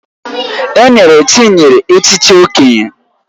Enyere Chinyere echichi Okenye